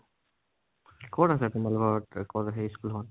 কত আছে তোমালোকৰ সেই school খন?